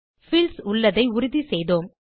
fields உள்ளதை உறுதி செய்தோம்